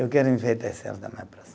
Eu quero enfeitar esse ano da minha praça.